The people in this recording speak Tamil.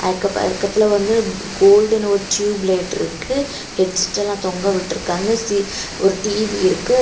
அக்கு பக்கத்துல வந்து கோல்டுனு ஒரு டியூப்லைட் ருக்கு ஹெட்செட் எல்லாம் தொங்கவிட்ருக்காங்க சி ஒரு டி_வி இருக்கு.